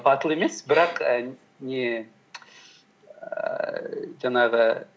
батыл емес бірақ не ііі жаңағы